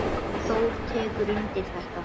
Þór tekur undir þetta.